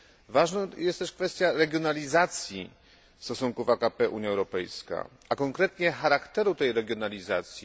Ważną jest też kwestia regionalizacji stosunków AKP Unia Europejska, a konkretnie charakteru tej regionalizacji.